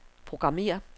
programmér